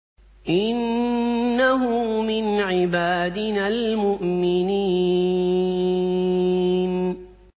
إِنَّهُ مِنْ عِبَادِنَا الْمُؤْمِنِينَ